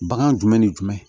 Bagan jumɛn ni jumɛn